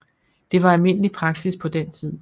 Det var almindelig praksis på den tid